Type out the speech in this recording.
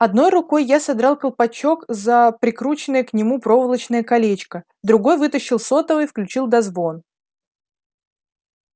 одной рукой я содрал колпачок за прикрученное к нему проволочное колечко другой вытащил сотовый включил дозвон